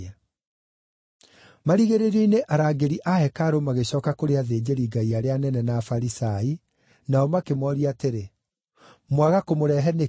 Marigĩrĩrio-inĩ arangĩri a hekarũ magĩcooka kũrĩ athĩnjĩri-Ngai arĩa anene na Afarisai, nao makĩmooria atĩrĩ, “Mwaga kũmũrehe nĩkĩ?”